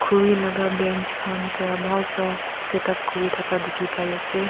khuri laga bench khan pra bhal pra set up kuri thaka dikhi pai ase.